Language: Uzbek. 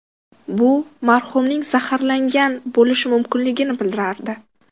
Bu marhumning zaharlangan bo‘lishi mumkinligini bildirardi.